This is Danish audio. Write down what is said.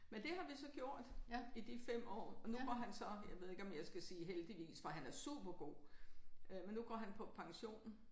Men det har vi så gjort i de 5 år. Nu går han så jeg ved ikke om jeg skal sige heldigvis for han er supergod øh men nu går han på pension